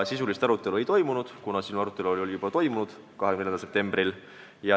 Sisulist arutelu ei olnud, kuna see oli juba toimunud 24. septembril.